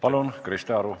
Palun, Krista Aru!